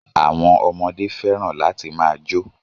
Àwọn ọmọdé fẹ́ràn láti máa jó